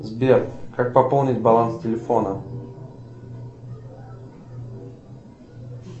сбер как пополнить баланс телефона